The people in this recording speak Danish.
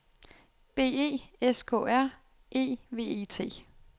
B E S K R E V E T